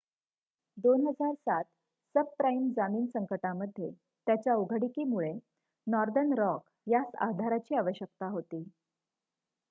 2007 subprime जामीन संकटामध्ये त्याच्या उघडीकीमुळे नॉर्दर्न रॉक यास आधाराची आवश्यकता होती